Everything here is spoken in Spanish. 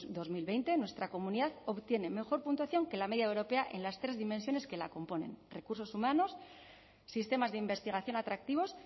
dos mil veinte nuestra comunidad obtiene mejor puntuación que la media europea en las tres dimensiones que la componen recursos humanos sistemas de investigación atractivos